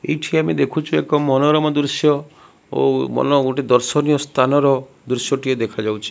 ଏଇଠି ଆମେ ଦେଖୁଚୁ ଏକ ମନୋରମ ଦୃଶ୍ୟ ଓ ମନ ଗୋଟେ ଦର୍ଶନୀୟ ସ୍ଥାନର ଦୃଶ୍ୟଟିଏ ଦେଖାଯାଉଛି।